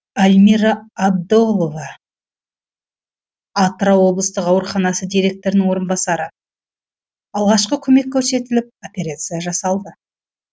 альмира абдолова атырау облыстық ауруханасы директорының орынбасары алғашқы көмек көрсетіліп операция жасалды